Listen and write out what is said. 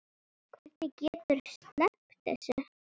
Hvernig getur þú sleppt þessu?